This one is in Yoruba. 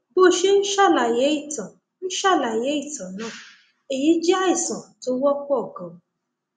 bó o ṣe ń ṣàlàyé ìtàn ń ṣàlàyé ìtàn náà èyí jẹ àìsàn tó wọpọ ganan